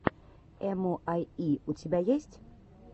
эмуайи у тебя есть